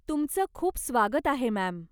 तुमचं खूप स्वागत आहे मॅम्.